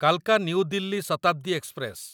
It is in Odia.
କାଲକା ନ୍ୟୁ ଦିଲ୍ଲୀ ଶତାବ୍ଦୀ ଏକ୍ସପ୍ରେସ